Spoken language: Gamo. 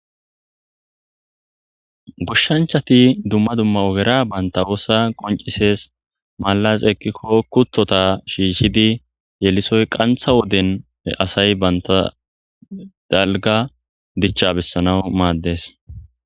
Goshshanchati dumma dumma ogera banta oosa qoncises malaz ekkikko kuttota shiishidi yelisoy qantha wodene asay banta dalga dichcha bessana maaddes.